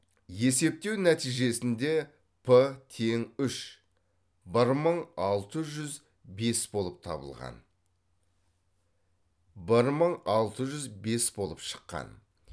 есептеу нәтижесінде п тең үш бір мың алты жүз бес болып шыққан